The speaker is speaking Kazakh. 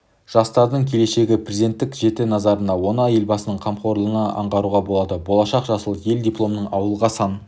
жастардың келешегі президенттің жіті назарында оны елбасының қамқорлығынан аңғаруға болады болашақ жасыл ел дипломмен ауылға сан